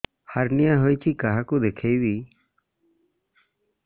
hernia ହୋଇଛି କାହାକୁ ଦେଖେଇବି